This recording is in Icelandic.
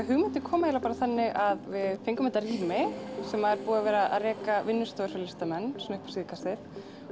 hugmyndin kom eiginlega bara þannig að við fengum þetta rými sem er búið að vera að reka vinnustofur fyrir listamenn upp á síðkastið